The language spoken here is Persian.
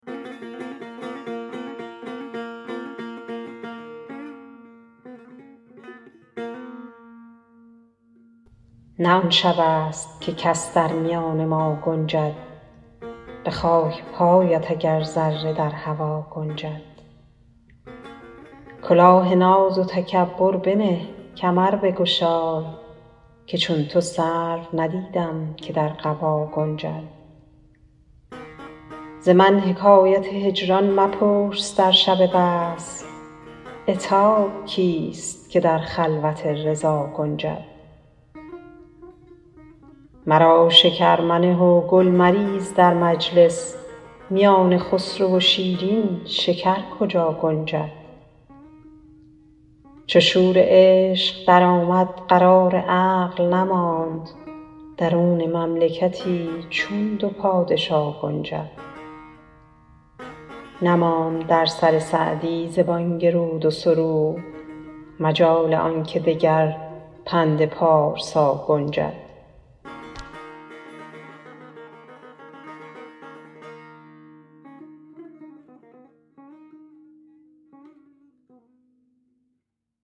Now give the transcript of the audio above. نه آن شبست که کس در میان ما گنجد به خاک پایت اگر ذره در هوا گنجد کلاه ناز و تکبر بنه کمر بگشای که چون تو سرو ندیدم که در قبا گنجد ز من حکایت هجران مپرس در شب وصل عتاب کیست که در خلوت رضا گنجد مرا شکر منه و گل مریز در مجلس میان خسرو و شیرین شکر کجا گنجد چو شور عشق درآمد قرار عقل نماند درون مملکتی چون دو پادشا گنجد نماند در سر سعدی ز بانگ رود و سرود مجال آن که دگر پند پارسا گنجد